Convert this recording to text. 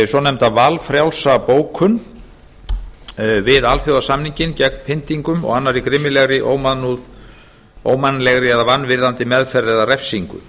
svonefnda valfrjálsa bókun við alþjóðasamninginn gegn pyntingum og annarri grimmilegri ómannlegri eða vanvirðandi meðferð eða refsingu